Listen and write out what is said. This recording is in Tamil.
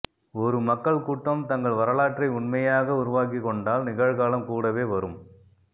ஒரு மக்கள்கூட்டம் தங்கள் வரலாற்றை உண்மையாக உருவாக்கிக்கொண்டால் நிகழ்காலம் கூடவே வரும்